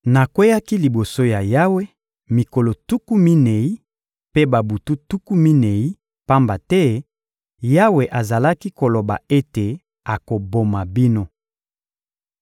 Nakweyaki liboso ya Yawe mikolo tuku minei mpe babutu tuku minei, pamba te Yawe azalaki koloba ete akoboma bino.